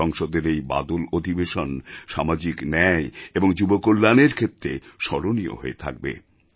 সংসদের এই বাদল অধিবেশন সামাজিক ন্যায় এবং যুবকল্যাণের ক্ষেত্রে স্মরণীয় হয়ে থাকবে